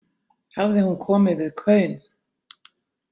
Hafði hún komið við kaun?